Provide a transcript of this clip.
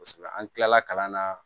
Kosɛbɛ an tilala kalan na